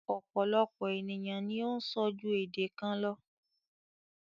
Ọ̀pọ̀lọpọ̀ ènìyàn ni o ń sọ ju èdè kan lọ.